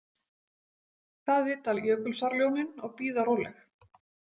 Það vita Jökulsárljónin og bíða róleg.